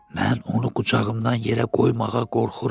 Mən onu qucağımdan yerə qoymağa qorxuram.